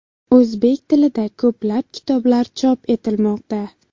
O‘zbek tilida ko‘plab kitoblar chop etilmoqda.